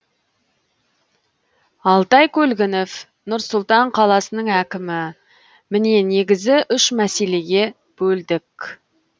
алтай көлгінов нұр сұлтан қаласының әкімі міне негізі үш мәселеге бөлдік